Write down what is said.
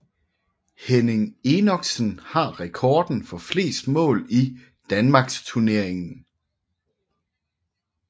Henning Enoksen har rekorden for flest mål i Danmarksturneringen